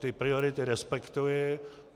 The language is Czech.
Ty priority respektuji.